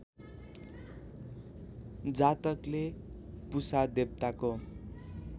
जातकले पुषा देवताको